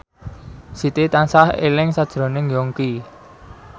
Siti tansah eling sakjroning Yongki